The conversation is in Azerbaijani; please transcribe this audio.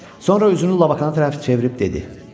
Sonra üzünü Labakana tərəf çevirib dedi: